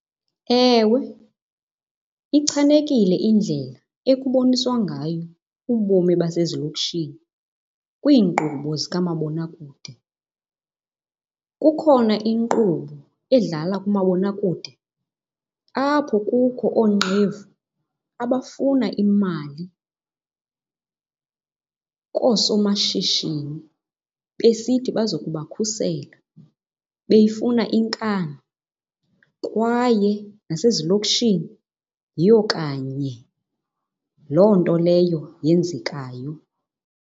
Ewe, ichanekile indlela ekuboniswa ngayo ubomi basezilokishini kwiinkqubo zikamabonakude. Kukhona inkqubo edlala kumabonakude apho kukho oonqevu abafuna imali koosomashishini besithi bazokubakhusela beyifuna inkani. Kwaye nasezilokishini yiyo kanye loo nto leyo yenzekayo.